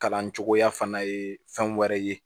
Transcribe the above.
Kalan cogoya fana ye fɛn wɛrɛ ye